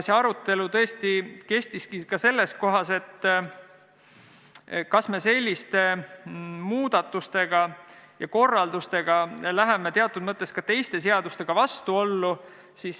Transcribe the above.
See arutelu tõesti oli ka selle üle, kas me selliste muudatuste ja korraldustega ei lähe teatud mõttes teiste seadustega vastuollu.